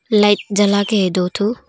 Light जला के है दो ठो।